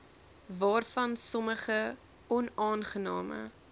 waarvan sommige onaangename